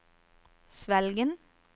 Svelgen